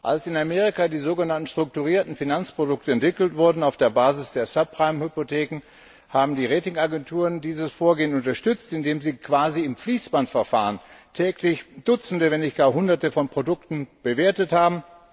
Als in Amerika die sogenannten strukturierten Finanzprodukte entwickelt wurden auf der Basis der Subprime Hypotheken, haben die Rating Agenturen dieses Vorgehen unterstützt, indem sie quasi im Fließbandverfahren täglich dutzende, wenn nicht gar hunderte von Produkten bewertet haben.